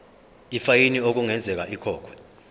ifayini okungenzeka ikhokhwe